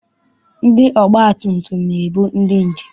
Ndị ọgbatumtum na-ebu ndị njem.